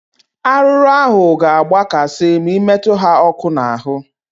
Arụrụ ahụ ga agba kasị ma ị metụ ha ọkụ na arụ